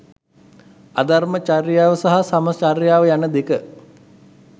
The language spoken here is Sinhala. අධර්ම චර්යාව සහ සම චර්යාව යන දෙක